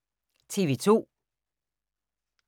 TV 2